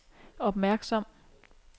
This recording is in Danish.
opmærksom